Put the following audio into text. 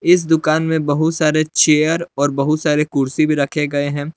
इस दुकान में बहुत सारे चेयर और बहुत सारे कुर्सी भी रखे गए हैं।